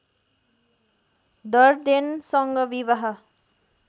डर्डेनसँग विवाह